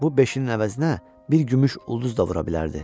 Bu beşinin əvəzinə bir gümüş ulduz da vura bilərdi.